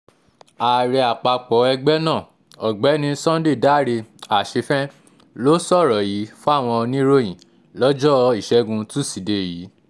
ààrẹ àpapọ̀ ẹgbẹ́ náà ọ̀gbẹ́ni sunday dáre àṣefén ló sọ̀rọ̀ yìí fáwọn oníròyìn lọ́jọ́ ìṣẹ́gun túṣídéé yìí